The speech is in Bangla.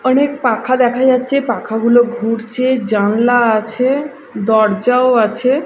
অনেক পাখা দেখা যাচ্ছে পাখাগুলো ঘুরছে জানলা আছে দরজাও আছে।